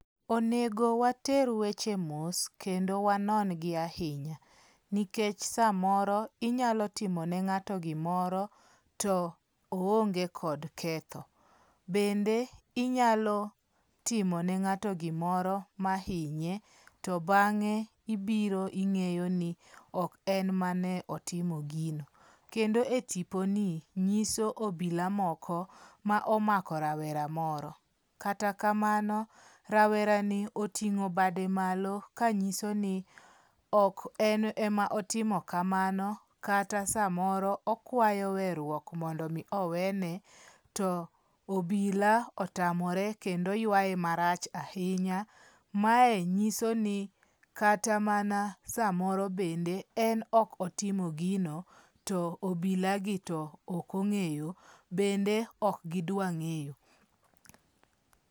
Onego water weche mos kendo wanon gi ahinya nikech samoro inyalo timo ne ng'ato gimoro to oonge kod ketho .Bende inyalo timo ne ng'ato gimoro ma inye to bang'e ibiro ing'eyo ni ok en mane otimo gino. Kendo e tiponi nyiso obila moko ma omako rawera moro. Kata kamano rawera ni oting'o bade malo kanyiso ni ok en ema otimo kamano kata samoro okwayo werruok mondo mi owene to obila otamore kendo ywaye marach ahinya. Mae nyiso ni kata mana samoro bende en ok otimo gino to obilo gi to ok ong'eye bende ok gidwa ng'eyo.